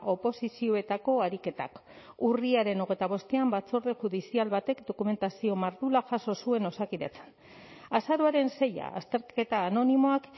oposizioetako ariketak urriaren hogeita bostean batzorde judizial batek dokumentazio mardula jaso zuen osakidetzan azaroaren seia azterketa anonimoak